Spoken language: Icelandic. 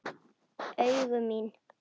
Augu mín.